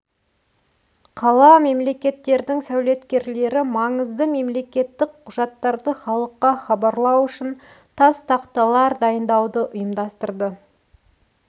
қала-мемлекеттердің сәулеткерлері маңызды мемлекеттік құжаттарды халыққа хабарлау үшін тас тақталар дайындауды ұйымдастырды